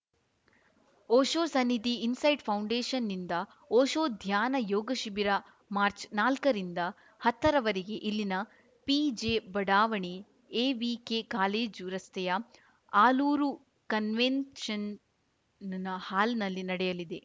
Osho Sannidhi insight ಫೌಂಡೇಷನ್‌ನಿಂದ ಓಶೋ ಧ್ಯಾನ ಯೋಗ ಶಿಬಿರ ಮಾರ್ಚ್ನಾಲ್ಕರಿಂದ ಹತ್ತರವರೆಗೆ ಇಲ್ಲಿನ ಪಿಜೆ ಬಡಾವಣೆ ಎವಿಕೆ ಕಾಲೇಜು ರಸ್ತೆಯ ಆಲೂರು ಕನ್ವೆನ್ಷನ್‌ ಹಾಲ್‌ನಲ್ಲಿ ನಡೆಯಲಿದೆ